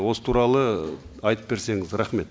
осы туралы айтып берсеңіз рахмет